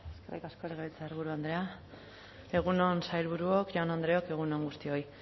eskerrik asko legebiltzarburu andrea egun on sailburuok jaun andreok egun on guztioi